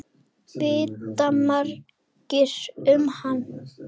Vita margir um hann?